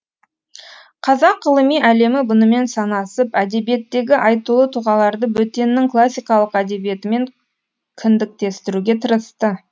қазақ ғылыми әлемі бұнымен санасып әдебиеттегі айтулы тұлғаларды бөтеннің классикалық әдебиетімен кіндіктестіруге тырысты